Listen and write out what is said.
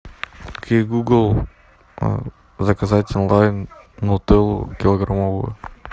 окей гугл заказать онлайн нутеллу килограммовую